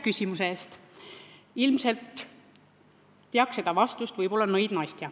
Võib-olla teaks seda vastust nõid Nastja.